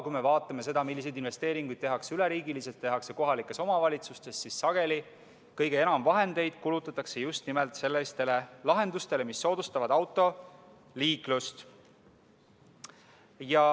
Kui me vaatame, milliseid investeeringuid tehakse üleriigiliselt ja kohalikes omavalitsustes, siis näeme, et sageli kulutatakse kõige enam vahendeid just nimelt sellistele lahendustele, mis soodustavad autoliiklust.